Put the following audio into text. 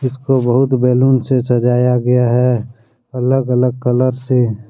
इसको बहुत बैलून से सजाया गया है अलग अलग कलर से।